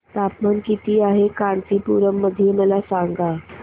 तापमान किती आहे कांचीपुरम मध्ये मला सांगा